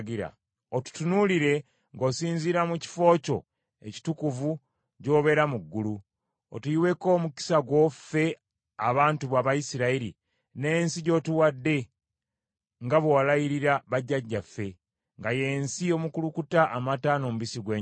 Otutunuulire ng’osinziira mu kifo kyo ekitukuvu gy’obeera mu ggulu, otuyiweko omukisa gwo ffe abantu bo Abayisirayiri n’ensi gy’otuwadde nga bwe walayirira bajjajjaffe, nga y’ensi omukulukuta amata n’omubisi gw’enjuki.”